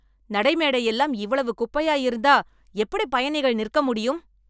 நடைமேடை எல்லாம் இவ்வளவு குப்பையா இருந்தா எப்படி பயணிகள் நிற்க முடியும்